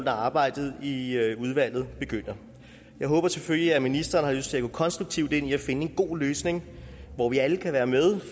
arbejdet i i udvalget begynder jeg håber selvfølgelig at ministeren har lyst til at gå konstruktivt ind i at finde en god løsning hvor vi alle kan være med